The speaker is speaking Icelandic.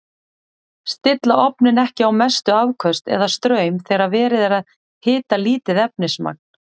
Stilla ofninn ekki á mestu afköst eða straum þegar verið er að hita lítið efnismagn.